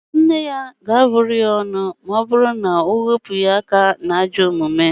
Nne ya ga-abụ ya ọnụ ma ọ bụru na o wepụghị aka n'ajọ omume